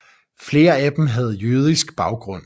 Flere af dem havde jødisk baggrund